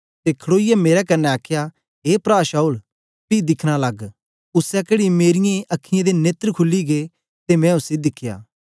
ते खड़ोईयै मेरे कन्ने आखया ए प्रा शाऊल पी दिखना लग उसै घड़ी मेरीयें अखीयैं दे नेत्र खुली गै ते मैं उसी दिखया